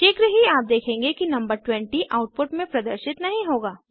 शीघ्र ही आप देखेंगे कि नंबर 20 आउटपुट में प्रदर्शित नहीं होगा